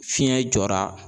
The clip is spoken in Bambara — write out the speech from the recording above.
Fiɲɛ jɔra.